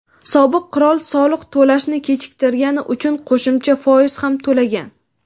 sobiq qirol soliq to‘lashni kechiktirgani uchun qo‘shimcha foiz ham to‘lagan.